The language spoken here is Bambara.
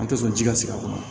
An tɛ sɔn ji ka sigi a kɔnɔ